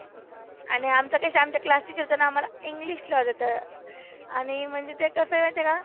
आणि आमच्या कसं आमच्या class teacher होत्याना आम्हाला इंग्लिश ला होत्या त्या. आणि म्हणजे ते कसं माहीती आहे का.